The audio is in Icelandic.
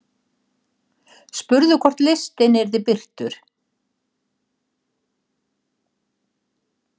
Spurðu hvort listinn yrði birtur